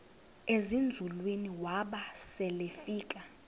ezinzulwini waba selefika